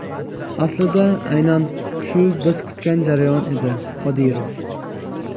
Aslida aynan shu biz kutgan jarayon edi – Qodirov.